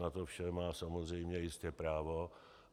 Na to vše má samozřejmě jistě právo.